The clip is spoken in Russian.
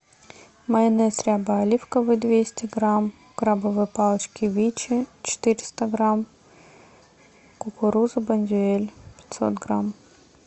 майонез ряба оливковый двести грамм крабовые палочки вичи четыреста грамм кукуруза бондюэль пятьсот грамм